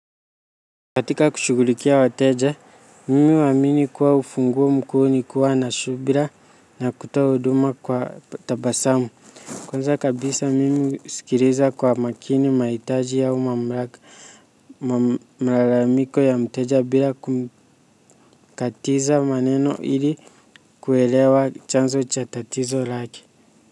Katika kushugulikia wateja, mimi huamini kuwa ufunguo mkuu ni kuwa na subira na kutoa huduma kwa tabasamu. Kwanza kabisa mimi usikiliza kwa makini mahiaji au mamlaka malalamiko ya mteja bila kumkatiza maneno ili kuelewa chanzo cha tatizo lake.